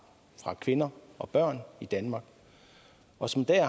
fra kvinder og børn i danmark og som i dag